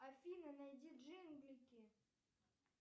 афина найди джинглики